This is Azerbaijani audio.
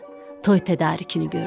Toy tədarükünü gördü.